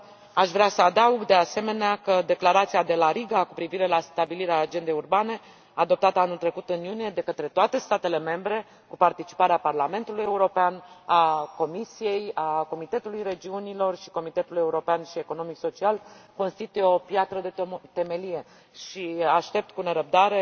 Aș vrea să adaug, de asemenea, că Declarația de la Riga cu privire la stabilirea agendei urbane, adoptată anul trecut în iunie de către toate statele membre, cu participarea Parlamentului European, a Comisiei, a Comitetului Regiunilor și a Comitetului Economic și Social European constituie o piatră de temelie și aștept cu nerăbdare